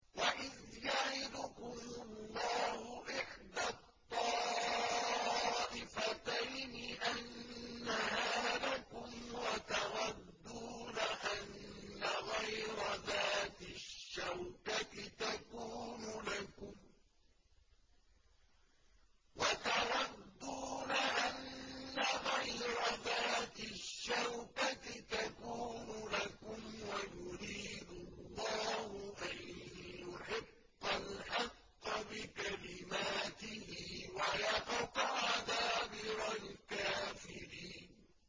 وَإِذْ يَعِدُكُمُ اللَّهُ إِحْدَى الطَّائِفَتَيْنِ أَنَّهَا لَكُمْ وَتَوَدُّونَ أَنَّ غَيْرَ ذَاتِ الشَّوْكَةِ تَكُونُ لَكُمْ وَيُرِيدُ اللَّهُ أَن يُحِقَّ الْحَقَّ بِكَلِمَاتِهِ وَيَقْطَعَ دَابِرَ الْكَافِرِينَ